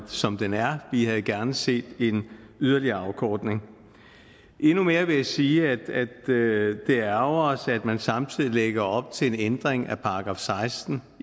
som den er vi havde gerne set en yderligere afkortning endnu mere vil jeg sige at det ærgrer os at man samtidig lægger op til en ændring af § seksten